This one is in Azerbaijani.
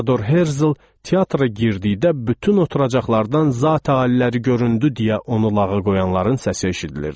Teador Herzl teatra girdikdə bütün oturacaqlardan “Zatə aliləri göründü!” deyə onu lağa qoyanların səsi eşidilirdi.